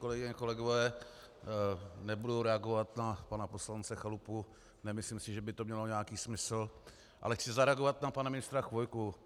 Kolegyně a kolegové, nebudu reagovat na pana poslance Chalupu, nemyslím si, že by to mělo nějaký smysl, ale chci zareagovat na pana ministra Chvojku.